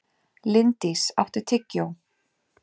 Linddís, áttu tyggjó?